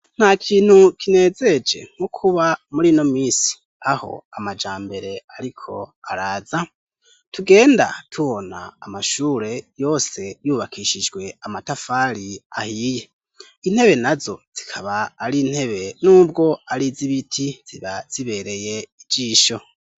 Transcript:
Nta kintu kinezereje nko kuba muri ino minsi aho amajambere ariko araza, tugenda tubona amashure yose yubakishijwe amatafari ahiye, intebe nazo zikaba ari intebe n'ubwo ari iz'ibiti ziba zibereye ijisho.